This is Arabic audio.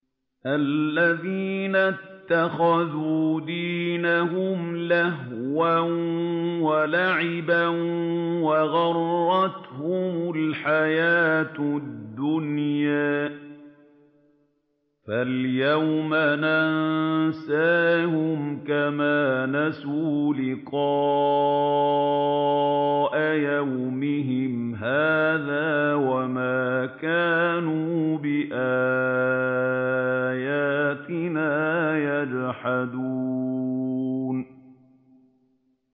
الَّذِينَ اتَّخَذُوا دِينَهُمْ لَهْوًا وَلَعِبًا وَغَرَّتْهُمُ الْحَيَاةُ الدُّنْيَا ۚ فَالْيَوْمَ نَنسَاهُمْ كَمَا نَسُوا لِقَاءَ يَوْمِهِمْ هَٰذَا وَمَا كَانُوا بِآيَاتِنَا يَجْحَدُونَ